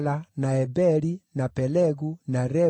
na Eberi, na Pelegu, na Reu,